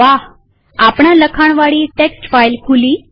વાહઆપણા લખાણવાળી text file ખુલી